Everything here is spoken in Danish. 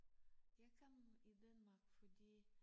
Jeg kom i Danmark fordi